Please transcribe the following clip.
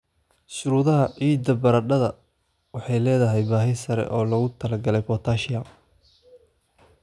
Shuruudaha ciidda Baradhada baradhada waxay leedahay baahi sare oo loogu talagalay potassium.